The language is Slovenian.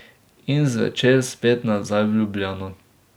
In zvečer spet nazaj v Ljubljano.